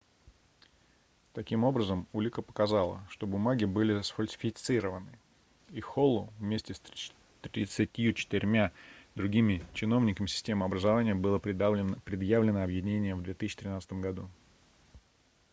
таким образом улика показала что бумаги были сфальсифицированы и холлу вместе с 34-мя другими чиновниками системы образования было предъявлено обвинение в 2013 году